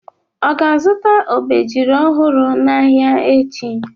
Ọ ga-azụta obejiri ọhụrụ n'ahịa echi?